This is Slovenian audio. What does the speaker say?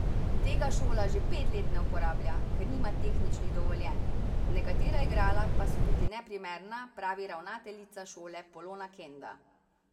Tega šola že pet let ne uporablja, ker nima tehničnih dovoljenj, nekatera igrala pa so tudi neprimerna, pravi ravnateljica šole Polona Kenda.